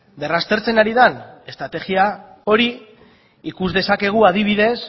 berraztertzen ari den estrategia hori ikus dezakegu adibidez